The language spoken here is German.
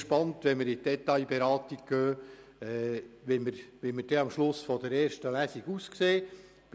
Ich bin nun auf die Detailberatung gespannt und darauf, wo wir am Ende der ersten Lesung stehen werden.